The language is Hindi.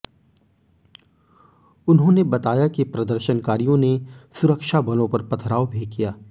उन्होंने बताया कि प्रदर्शनकारियों ने सुरक्षा बलों पर पथराव भी किया